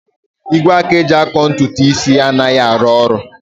Igwe aka eji akọ ntutu isi anaghị arụ ọrụ